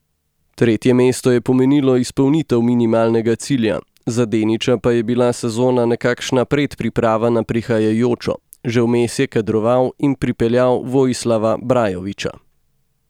Tretje mesto je pomenilo izpolnitev minimalnega cilja, za Deniča pa je bila sezona nekakšna predpriprava na prihajajočo, že vmes je kadroval in pripeljal Vojislava Brajovića.